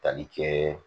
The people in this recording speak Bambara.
Tali kɛ